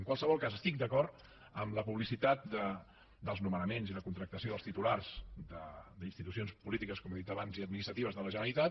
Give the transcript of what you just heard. en qualsevol cas estic d’acord en la publicitat dels nomenaments i la contractació dels titulars d’institucions polítiques com he dit abans i administratives de la generalitat